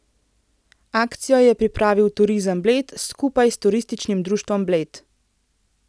Akcijo je pripravil Turizem Bled skupaj s Turističnim društvom Bled.